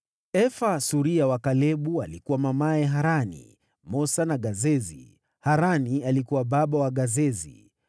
Efa, suria wa Kalebu alikuwa mamaye Harani, Mosa na Gazezi. Harani alikuwa baba wa Gazezi.